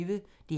DR P1